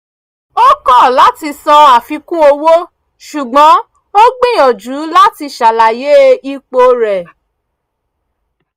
ó kọ̀ láti san àfikún owó ṣùgbọ́n ó gbìyànjú láti ṣàlàyé ipo rẹ̀